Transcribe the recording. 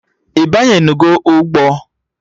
Ị banyenugo ụgbọ?